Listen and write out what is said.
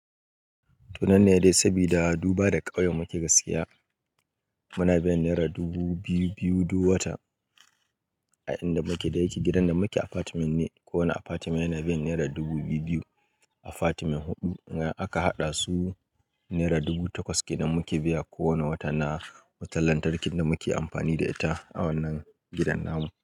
To nan ne dai, sabida duba da ƙauyen muke gaskiya. Muna biyan naira dubu biyu-biyu duk wata a inda muke da yake. Gidan da muke apartment ne. Kowane apartment yana biyan naira dubu biyu-biyu. Apartment huɗu aka haɗa su. Naira dubu takwas ke nan muke biya kowane wata na wutar lantarkin da muke amfani da ita a wannan gidan namu.